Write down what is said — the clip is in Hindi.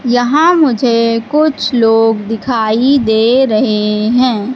यहां मुझे कुछ लोग दिखाई दे रहे हैं।